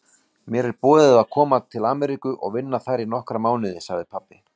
Mér er boðið að koma til Ameríku og vinna þar í nokkra mánuði sagði pabbi.